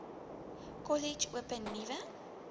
kollege open nuwe